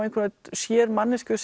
sér manneskju